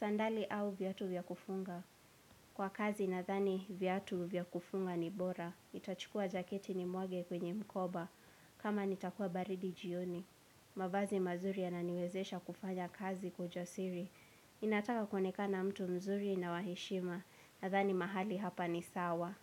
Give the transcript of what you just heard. Sandali au vyatu vyakufunga? Kwa kazi nadhani viatu vya kufunga ni bora. Nitachukua jaketi nimwage kwenye mkoba. Kama nitakuwa baridi jioni. Mavazi mazuri yananiwezesha kufanya kazi kwa ujasiri. Ninataka kuonekana mtu mzuri na wa heshima nadhani mahali hapa ni sawa.